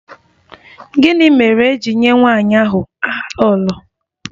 Gịnị mere e ji nye nwanyị ahụ aha 'Lolo'?